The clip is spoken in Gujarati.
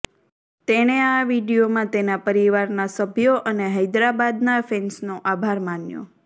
તેણે આ વિડીયોમાં તેના પરિવારનાં સભ્યો અને હૈદરાબાદનાં ફેન્સનો આભાર માન્યો